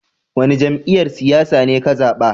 Wani jami'yyar siyasa ne ka zaba?